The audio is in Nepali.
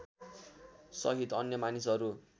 सहित अन्य मानिसहरू